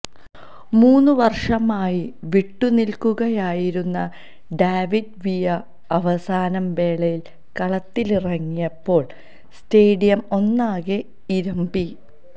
മൂന്നു വർഷമായി വിട്ടുനിൽക്കുകയായിരുന്ന ഡാവിഡ് വിയ അവസാന വേളയിൽ കളത്തിലിറങ്ങിയപ്പോൾ സ്റ്റേഡിയം ഒന്നാകെ ഇരമ്പി